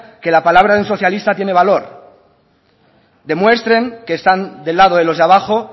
que la palabra de un socialista tiene valor demuestren que están del lado de los de abajo